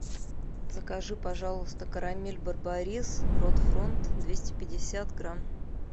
закажи пожалуйста карамель барбарис рот фронт двести пятьдесят грамм